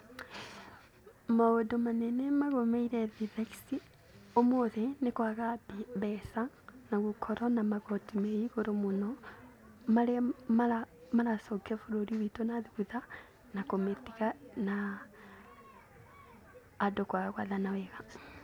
Maũndũ manene magũmĩire thĩ thaici, ũmũthĩ, nĩ kwaga mbeca na gũkorwo na magoti me igũrũ mũno marĩa maracokia bũrũri witũ na thutha, na kũmĩtiga na andũ kwaga gũathana wega.